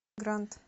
грант